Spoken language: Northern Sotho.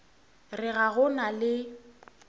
re ga go na le